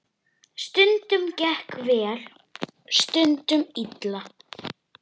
Stundum gekk vel, stundum illa.